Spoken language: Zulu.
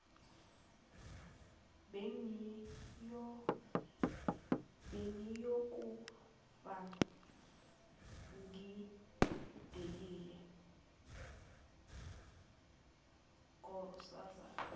bengiyokufa ngidelile nkosazana